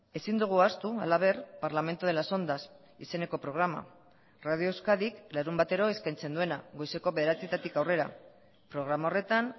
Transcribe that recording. ezin dugu ahaztu halaber parlamento de las ondas izeneko programa radio euskadik larunbatero eskaintzen duena goizeko bederatzitatik aurrera programa horretan